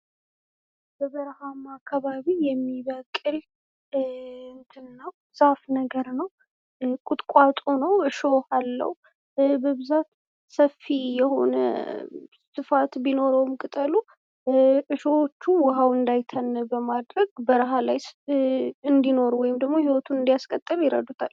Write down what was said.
በበረሃማ አካባቢ የሚበቅል ዛፍ ነገር ነው፤ ቁጥቋጦ ነው። እሾህ አለው፣ በብዛት ሰፊ የሆነ ስፋት ቢኖረውም ቅጠሎቹ እሾሆቹ ውሃው እንዳይተን በማድረግ በረሃ ላይ እንዲኖሩ ወይም ደግሞ ሂዎቱን እንዲያስቀጥል ይረዱታል።